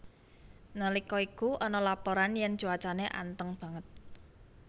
Nalika iku ana laporan yen cuacane anteng banget